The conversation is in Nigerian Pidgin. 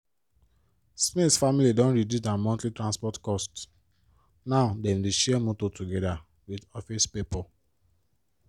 smith family don reduce dia monthly transport cost now dem dey share motor togeda with office pipo.